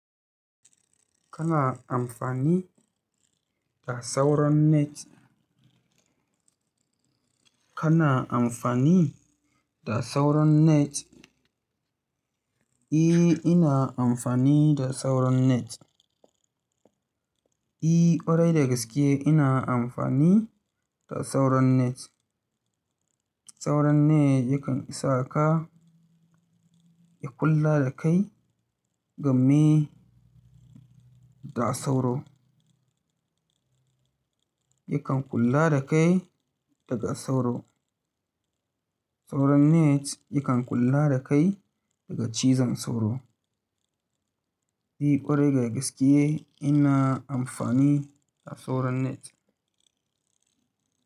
Kana amfani da sauron net? Kana amfani da sauron net? Ina amfani da sauron net. Ƙwarai da gaske ina amfani da sauron net. Sauron net yakan isa ka, ya kula da kai game da sauro. Yakan kula da kai daga sauro. Sauron net yakan kula da kai daga cizon sauro. E, ƙwarai dagaskiye ina amfani da sauron net.